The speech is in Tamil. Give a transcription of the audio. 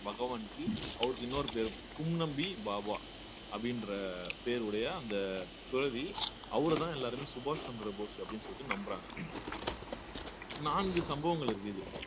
பகவான்ஜி அவருக்கு இன்னொரு பேரு கும் நம்பி பாபா அப்படின்ற பேருடைய அந்த துறவி அவரைதான் எல்லாருமே சுபாஷ் சந்திரபோஸ் அப்படின்னு சொல்லிட்டு நம்புறாங்க நான்கு சம்பவங்கள் இருக்குது